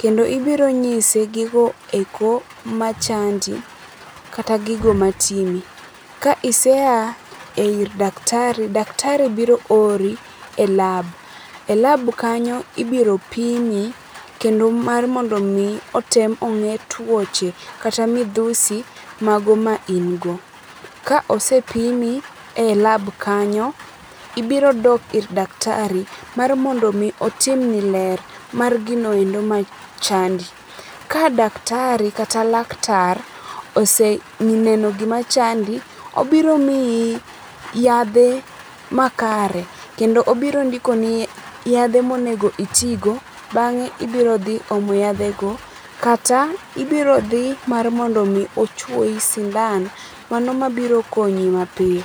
kendo ibiro nyise gigo eko machandi kata gigo matimi. Ka iseya ir daktari, dakatari biro ori e lab, e lab kanyo ibiro pimi kendo mar mondo mi otem onge tuoche kata midhusi mago ma in go. Ka osepimi e lab kanyo ,ibiro dok ir daktari mar mondo otimni ler mar gino ero machandi. Ka daktari kata laktar oseneno gima chandi obiro miyi yadhe makare kendo obiro ndikoi yadhe monego itigo bange ibiro dhi omo yadhe go kata ibiro dhi ma rmondo ochuoyi sindan, mano mabiro konyi mapiyo